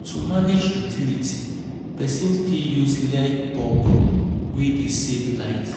To manage utility, person fit use LED bulb wey dey save light